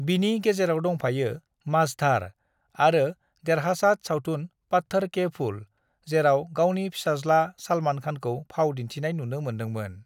"बिनि गेजेराव दंफायो मझधार आरो देरहासाद सावथुन पत्थर के फूल, जेराव गावनि फिसाज्ला सलमान खानखौ फाव दिनथिनाय नुनो मोनदोंमोन ।"